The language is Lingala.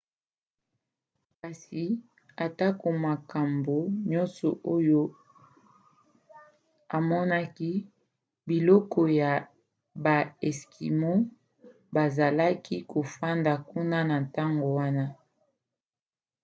kasi atako makambo nyonso oyo amonaki bikolo ya baeskimo bazalaki kofanda kuna na ntango wana